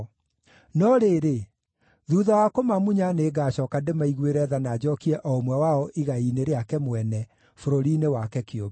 No rĩrĩ, thuutha wa kũmamunya nĩngacooka ndĩmaiguĩre tha na njookie o ũmwe wao igai-inĩ rĩake mwene, bũrũri-inĩ wake kĩũmbe.